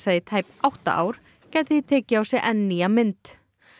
í tæp átta ár gæti því tekið á sig enn nýja mynd